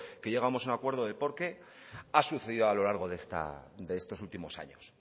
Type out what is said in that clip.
que llegamos a un acuerdo de por qué ha sucedido a lo largo de estos últimos años